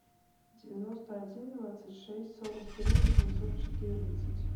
девяносто один двадцать шесть сорок три восемьсот четырнадцать